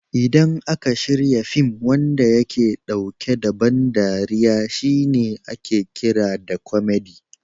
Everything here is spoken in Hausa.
Idan aka shirya fin wanda yake ɗauke da ban dariya shi ake kira da kwamadi (comedy)